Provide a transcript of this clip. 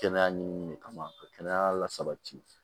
Kɛnɛya ɲiminini de kama ka kɛnɛya lasabati